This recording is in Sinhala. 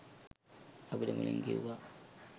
අපිට මුලින් කිව්වා